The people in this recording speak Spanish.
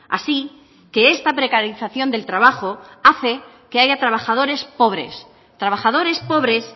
así que esta precarización del trabajo hace que haya trabajadores pobres trabajadores pobres